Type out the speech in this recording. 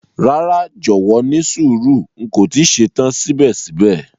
Rara, jọwọ nísùúrù, n ko ti ṣetan sibẹ̀sibẹ̀.